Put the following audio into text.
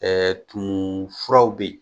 Ɛɛ tumu furaw bɛ yen